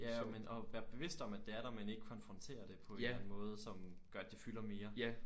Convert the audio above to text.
Ja men at være bevist om at det er der men ikke konfrontere det på en eller anden måde som gør at det fylder mere